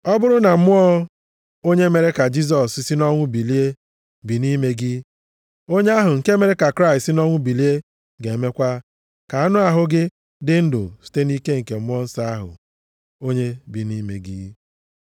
Ọ bụrụ na Mmụọ onye mere ka Jisọs si nʼọnwụ bilie, bi nʼime gị, onye ahụ nke mere ka Kraịst si nʼọnwụ bilie ga-emekwa ka anụ ahụ gị dị ndụ site nʼike Mmụọ Nsọ ahụ, onye bi nʼime gị.